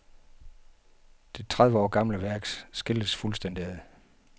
Det tredive år gamle værk skilles fuldstændig ad.